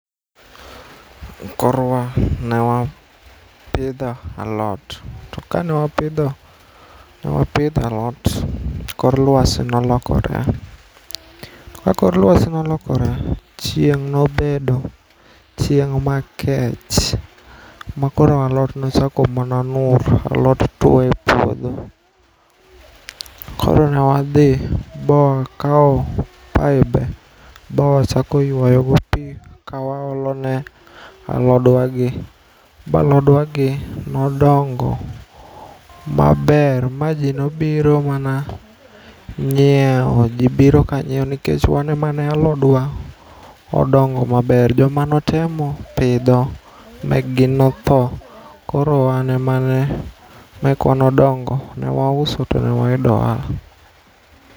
Korwa newapidho alot tokanewapidho alot kor lwasi nolokore. Kakor lwasi nolokore chieng' nobedo, chieng' makech makoro alot nochako mana alot tuo e puodho, koro newadhi bawakawo pibe bawachako yuayogo pii kawaolone alodwagi balodwagi nodongo maber ma jii nobiro mana nyieo. Jii biro ka nyieo nikech wane mana alodwa odongo maber. Jomanotemo pidho mekgi notho koro wane mana mekwa nodongo newauso to newayudo ohala.